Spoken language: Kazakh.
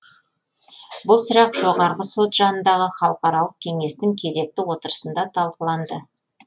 бұл сұрақ жоғарғы сот жанындағы халықаралық кеңестің кезекті отырысында талқыланды